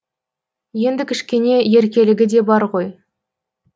енді кішкене еркелігі де бар ғой